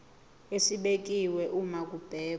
esibekiwe uma kubhekwa